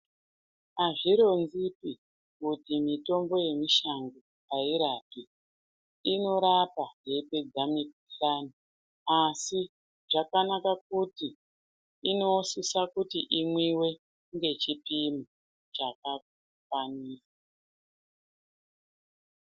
Azvironzipi kuti mutombo yemushango airapi. Inorapa yeipedza mukuhlani asi zvakanaka kuti inosisa kuti imwiwe ngechipimo chakafanira.